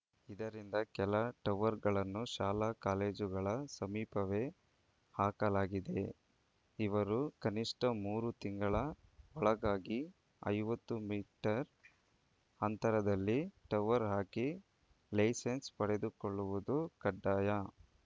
ಇದರಿಂದ ಕೆಲ ಟವರ್‌ಗಳನ್ನು ಶಾಲಾ ಕಾಲೇಜುಗಳ ಸಮೀಪವೇ ಹಾಕಲಾಗಿದೆ ಇವರು ಕನಿಷ್ಠ ಮೂರು ತಿಂಗಳ ಒಳಗಾಗಿ ಐವತ್ತು ಮೀಟರ್‌ ಅಂತರದಲ್ಲಿ ಟವರ್‌ ಹಾಕಿ ಲೈಸನ್ಸ್‌ ಪಡೆದುಕೊಳ್ಳುವುದು ಕಡ್ಡಾಯ